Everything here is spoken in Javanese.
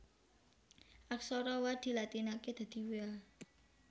Aksara Wa dilatinaké dadi Wa